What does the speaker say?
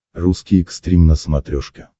русский экстрим на смотрешке